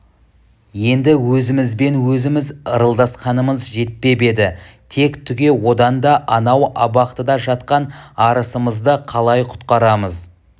енді өзімізбен өзіміз ырылдасқанымыз жетпеп еді тек түге одан да анау абақтыда жатқан арысымызды қалай құтқарамыз